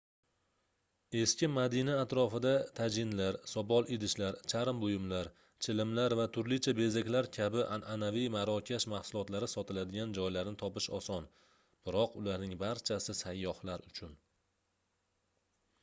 eski madina atrofida tajinlar sopol idishlar charm buyumlar chilimlar va turlicha bezaklar kabi anʼanaviy marokash mahsulotlari sotiladigan joylarni topish oson biroq ularning barchasi sayyohlar uchun